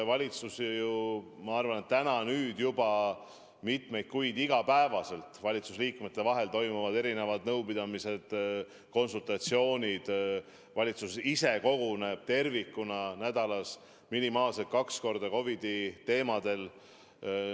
Ma arvan, et nüüd juba mitmeid kuid on iga päev valitsuse liikmete vahel toimunud erinevad nõupidamised, konsultatsioonid, kogu valitsus koguneb nädalas minimaalselt kaks korda, et COVID-i teemasid arutada.